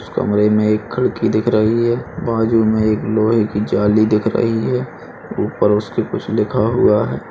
इस कमरे में एक खिड़की दिख रही है। बाजू में एक लोहे की जाली दिख रही है ऊपर उसके कुछ लिखा हुआ है।